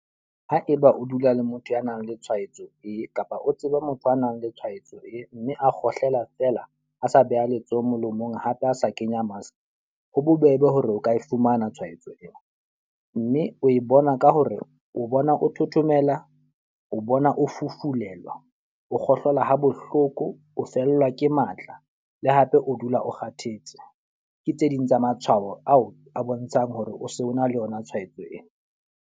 Haeba o dula le motho ya nang le tshwaetso ee, kapa o tseba motho a nang le tshwaetso ee. Mme a kgohlela fela a sa beha letsoho molomong hape a sa kenya mask. Ho bobebe hore o ka e fumana tshwaetso ena. Mme o e bona ka hore o bona o thothomela, o bona o fufulelwa, o kgohlola ha bohloko, o fellwa ke matla le hape o dula o kgathetse. Ke tse ding tsa matshwao ao a bontshang hore o se o na le yona tshwaetso ena.